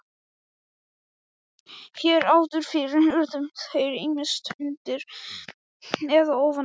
Hér áður fyrr urðu þeir ýmist undir eða ofan á.